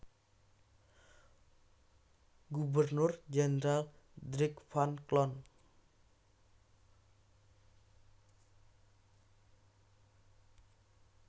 Gubernur Jendral Dirk van Cloon